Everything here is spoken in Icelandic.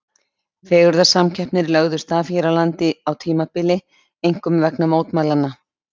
Fegurðarsamkeppnir lögðust af hér á landi á tímabili, einkum vegna mótmælanna.